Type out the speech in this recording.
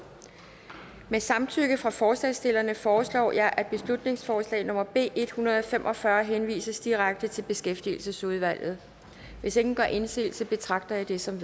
med samtykke fra forslagsstillerne foreslår jeg at beslutningsforslag nummer b en hundrede og fem og fyrre henvises direkte til beskæftigelsesudvalget hvis ingen gør indsigelse betragter jeg det som